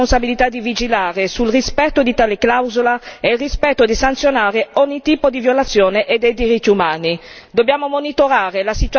All'Unione europea incombe la responsabilità di vigilare sul rispetto di tale clausola e di sanzionare ogni tipo di violazione dei diritti umani.